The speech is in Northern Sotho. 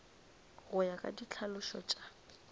go ya ka ditlhalošo tša